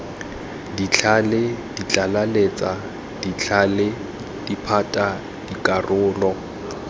ditlhale ditlaleletsa ditlhale diphate dikarolo